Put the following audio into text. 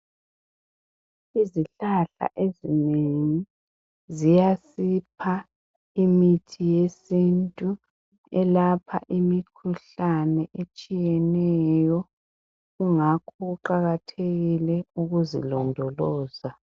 Izihlahla ezinengi ziyasipha imithi yesintu elapha imikhuhlane etshiyeneyo kungakho kuqakathekile ukuzilondoloza.